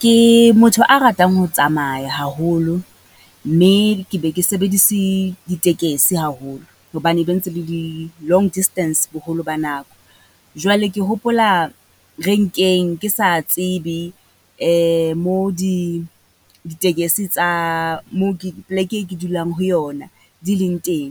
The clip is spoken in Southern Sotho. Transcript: Ke motho a ratang ho tsamaya haholo, mme ke be ke sebedise ditekesi haholo, hobane be ntse le di long distance boholo ba nako. Jwale ke hopola renkeng ke sa tsebe mo di, ditekese tsa moo ke, pleke e ke dulang ho yona di leng teng.